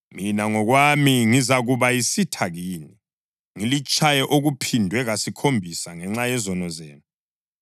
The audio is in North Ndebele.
mina ngokwami ngizakuba yisitha kini, ngilitshaye okuphindwe kasikhombisa ngenxa yezono zenu.